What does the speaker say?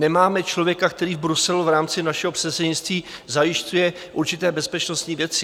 Nemáme člověka, který v Bruselu v rámci našeho předsednictví zajišťuje určité bezpečnostní věci.